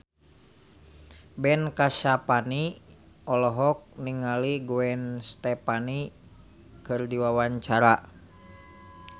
Ben Kasyafani olohok ningali Gwen Stefani keur diwawancara